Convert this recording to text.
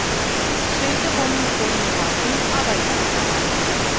сөйтіп оның формуласын абайдан табады